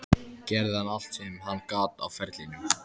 Gerði hann allt sem hann gat á ferlinum?